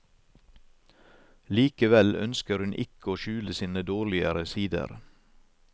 Likevel ønsker hun ikke å skjule sine dårligere sider.